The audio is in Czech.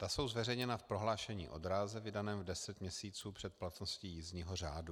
Ta jsou zveřejněna v prohlášení o dráze vydaném deset měsíců před platností jízdního řádu.